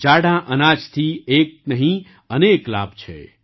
જાડાં અનાજથી એક નહીં અનેકલાભ છે